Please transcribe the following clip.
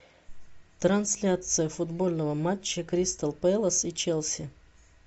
трансляция футбольного матча кристал пэлас и челси